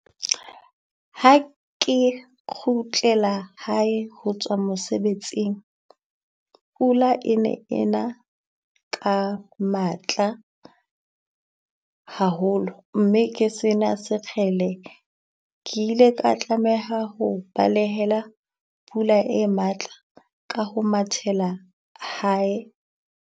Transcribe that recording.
Ha ke kgutlela hae ho tswa mosebetsing. Pula e ne ena ka matla haholo, mme ke sena sekgele ke ile ka tlameha ho balehela pula e matla ka ho mathela hae.